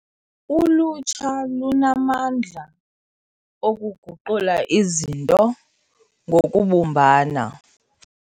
Ulutsha lunamandla okuguqula izinto ngokubumbana.